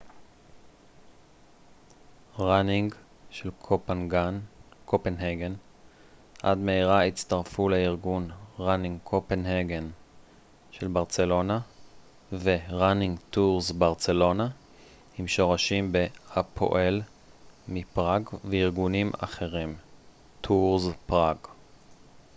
עם שורשים ב-running tours barcelona של ברצלונה ו-running copenhagen של קופנהגן עד מהרה הצטרפו לארגון running tours prague הפועל מפראג וארגונים אחרים